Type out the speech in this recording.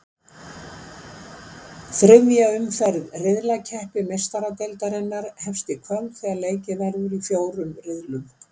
Þriðja umferð riðlakeppni Meistaradeildarinnar hefst í kvöld þegar leikið verður í fjórum riðlum.